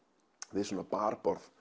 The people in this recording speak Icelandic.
við barborð